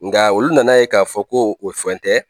Nga olu nana ye k'a fɔ ko o fɛn tɛ.